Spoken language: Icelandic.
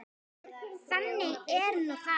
Þannig er nú það.